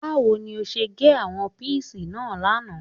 Báwo ni ó ṣe gé àwọn píìsì náà lánàá